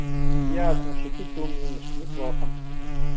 ясно шутить ты умеешь неплохо